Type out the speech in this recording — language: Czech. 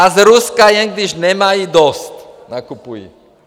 A z Ruska, jen když nemají dost, nakupují.